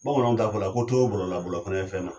Bamananw t'a fɔ la ko to bɔlɔ la , bɔlɔ la fana bɛ fɛn na.